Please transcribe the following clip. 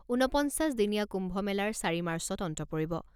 ঊনপঞ্চাছ দিনীয়া কুম্ভ মেলাৰ চাৰি মাৰ্চত অন্ত পৰিব।